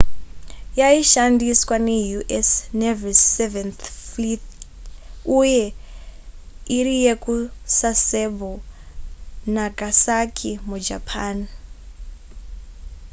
yaishandiswa neu.s navy's seventh fleet uye iri yekusasebo nagasaki mujapan